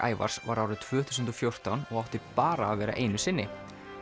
Ævars var árið tvö þúsund og fjórtán og átti bara að vera einu sinni